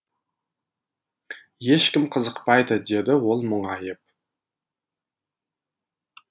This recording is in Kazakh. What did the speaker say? ешкім қызықпайды деді ол мұңайып